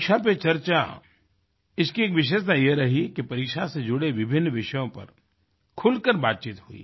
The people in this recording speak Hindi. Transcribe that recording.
परीक्षा पे चर्चा इसकी एक विशेषता यह रही कि परीक्षा से जुड़ें विभिन्न विषयों पर खुल कर बातचीत हुई